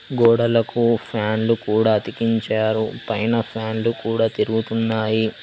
గోడలకు ఫ్యాన్లు కూడ అతికించారు పైన ఫ్యాన్లు కూడ తిరుగుతున్నాయి.